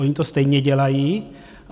Oni to stejně dělají.